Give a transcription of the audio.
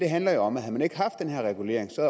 handler jo om at havde man ikke haft den her regulering så